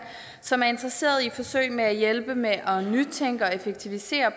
som er interesseret i forsøg med at hjælpe med at nytænke og effektivisere